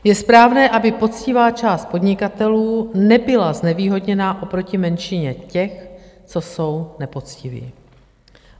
Je správné, aby poctivá část podnikatelů nebyla znevýhodněna oproti menšině těch, co jsou nepoctiví.